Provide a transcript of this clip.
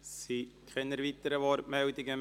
Es gibt keine weiteren Wortmeldungen.